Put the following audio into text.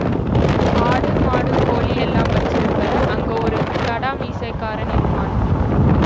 ஆடு மாடு கோழி எல்லாம் வச்சிருப்ப அங்கே ஒரு கடா மீசைக்காரன் இருப்பான்